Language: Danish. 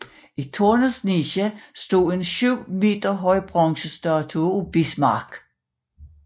I tårnets niche stod en 7 meter høj bronzestatue af Bismarck